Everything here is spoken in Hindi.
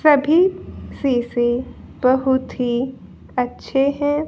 सभी शीशे बहुत ही अच्छे हैं।